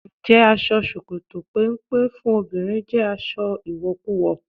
Ǹjẹ́ aṣọ ṣòkòtò péńpé fún obìnrin jẹ́ aṣọ ìwọ̀kuwọ̀?